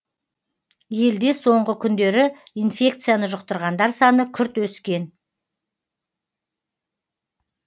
елде соңғы күндері инфекцияны жұқтырғандар саны күрт өскен